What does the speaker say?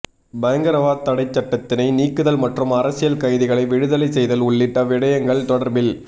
பயங்கரவாத் தடைச் சட்டத்தினை நீக்குதல் மற்றும் அரசியல் கைதிகளை விடுதலை செய்தல் உள்ளிட்ட விடயங்கள் தொடர்பில்